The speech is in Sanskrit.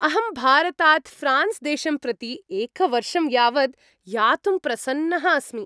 अहं भारतात् ऴ्रान्स् देशं प्रति एकवर्षं यावद् यातुं प्रसन्नः अस्मि।